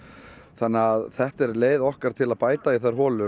þannig að þetta er leið okkar til að bæta í þær holur